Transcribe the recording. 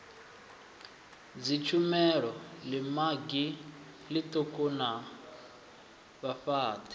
dzitshumelo ḽimagi ḽiṱuku na vhafhaṱi